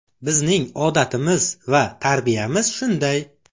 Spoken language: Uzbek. Bizning odatimiz va tarbiyamiz shunday.